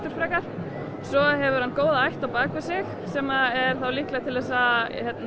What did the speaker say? frekar svo hefur hann góða ætt á bak við sig sem er þá líklegri til þess að